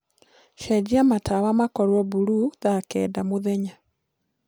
cenjĩa matawa makorwo bulũũ thaa kenda mũthenya